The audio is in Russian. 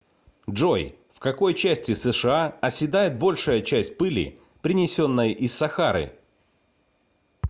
джой в какой части сша оседает большая часть пыли принесенной из сахары